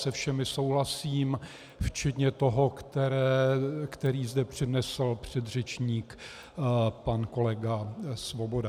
Se všemi souhlasím včetně toho, který zde přednesl předřečník pan kolega Svoboda.